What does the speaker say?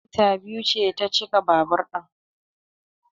Lita biyu ce ta cika babur din